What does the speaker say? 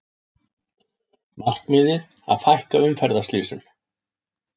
Markmiðið að fækka umferðarslysum